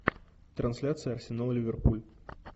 трансляция арсенал ливерпуль